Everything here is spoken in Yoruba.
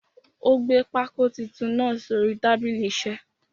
Ó gbé pákó titun náà sórí tábìlì isẹ́.